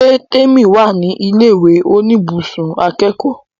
Ṣé Témì wà ní ilẹ̀ ìwé oníbùsùn akẹ́kọ̀ọ́?